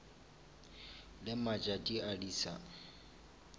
le matšatši a di sa